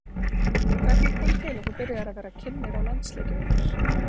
Hvernig kom til að þú byrjaðir að vera kynnir á landsleikjum?